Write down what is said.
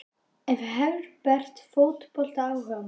Er Herbert fótboltaáhugamaður?